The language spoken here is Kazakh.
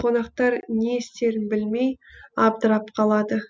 қонақтар не істерін білмей абдырап қалады